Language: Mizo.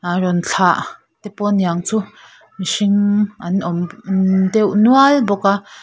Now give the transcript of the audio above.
aa rawn thlah te pawh niang chu mihring an awm nn deuh nual bawk a.